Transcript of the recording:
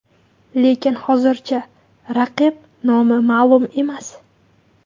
Lekin hozircha raqib nomi ma’lum emas.